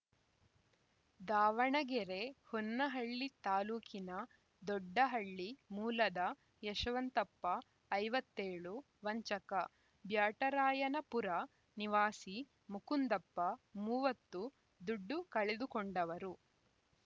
ದಾವಣಗೆರೆ ಹೊನ್ನಹಳ್ಳಿ ತಾಲೂಕಿನ ದೊಡ್ಡಹಳ್ಳಿ ಮೂಲದ ಯಶವಂತಪ್ಪ ಐವತ್ತ್ ಏಳು ವಂಚಕ ಬ್ಯಾಟರಾಯನಪುರ ನಿವಾಸಿ ಮುಕುಂದಪ್ಪ ಮೂವತ್ತು ದುಡ್ಡು ಕಳೆದುಕೊಂಡವರು